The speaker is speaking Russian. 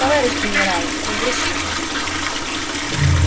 товарищ генерал разрешите